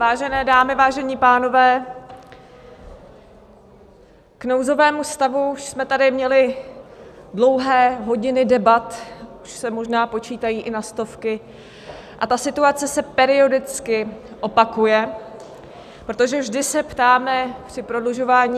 Vážené dámy, vážení pánové, k nouzovému stavu už jsme tady měli dlouhé hodiny debat, už se možná počítají i na stovky, a ta situace se periodicky opakuje, protože vždy se ptáme při prodlužování...